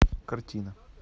картина